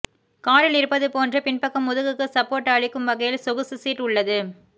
காரில் இருப்பது போன்றே பின்பக்கம் முதுகுக்கு சப்போர்ட் அளிக்கும் வகையில் சொகுசு சீட் உள்ளது